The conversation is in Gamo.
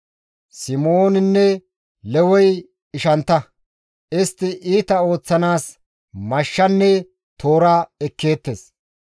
«Simooninne Lewey ishantta; istti iita ooththanaas mashshanne toora ekkeettes.